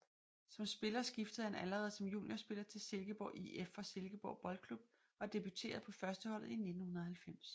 Som spiller skiftede han allerede som juniorspiller til Silkeborg IF fra Silkeborg Boldklub og debuterede på førsteholdet i 1990